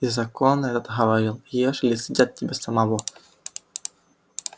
и закон этот говорил ешь или съедят тебя самого